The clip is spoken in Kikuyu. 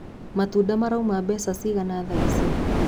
Matunda marauma mbeca cigana thaici?